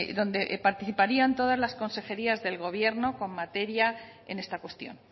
donde participarían todas las consejerías del gobierno con materia en esta cuestión